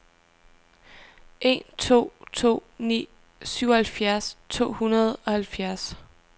en to to ni syvoghalvfjerds to hundrede og halvfjerds